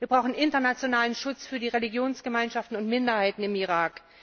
Wir brauchen internationalen Schutz für die Religionsgemeinschaften und Minderheiten im Irak.